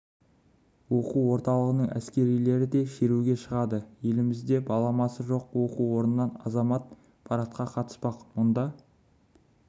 оқу орталығының әскерилері де шеруге шығады елімізде баламасы жоқ оқу орнынан азамат парадқа қатыспақ мұнда